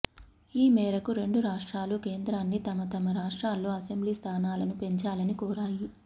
ఈ మేరకు రెండు రాష్ట్రాలు కేంద్రాన్ని తమ తమ రాష్ట్రాల్లో అసెంబ్లీ స్థానాలను పెంచాలని కోరాయి